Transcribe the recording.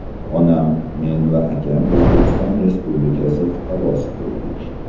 Onam, men va akam O‘zbekiston Respublikasi fuqarosi bo‘ldik”.